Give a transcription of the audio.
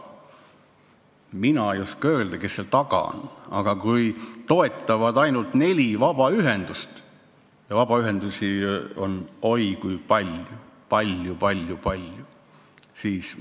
Mina ei oska öelda, kes selle taga on, aga kui toetavad ainult neli vabaühendust ja vabaühendusi on meil oi kui palju, siis ...